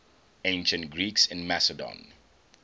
ancient greeks in macedon